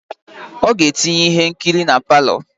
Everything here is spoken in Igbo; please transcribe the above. Oga etinye ihe nkiri na parlour.